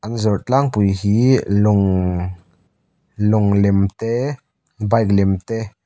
an zawrh tlangpui hi lawng lawng lem te bike lem te.